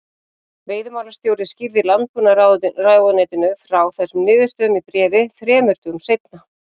Veiðimálastjóri skýrði Landbúnaðarráðuneytinu frá þessum niðurstöðum í bréfi þrem dögum seinna.